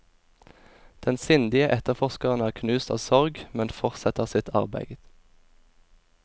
Den sindige etterforskeren er knust av sorg, men fortsetter sitt arbeid.